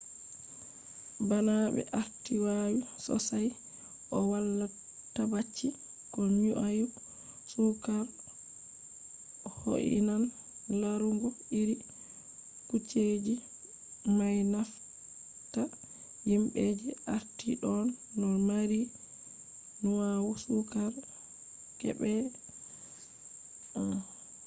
bana ɓe arti wawi sossay o wala tabbaci ko nyau sukar ho'inan larugo iri kujeji may nafata yimɓe je arti ɗon no mari nyau sukar geeɓe 1